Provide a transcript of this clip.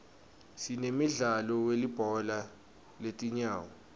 sinemdlalo welibhola letinyawo